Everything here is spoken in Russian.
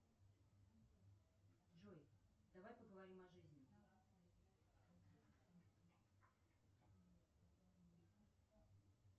джой давай поговорим о жизни